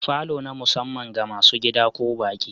Falo na musamman ga masu gida ko baƙi.